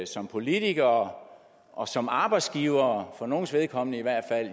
som politikere og som arbejdsgivere for nogens vedkommende i hvert